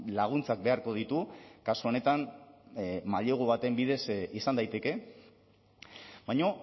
laguntzak beharko ditu kasu honetan mailegu baten bidez izan daiteke baina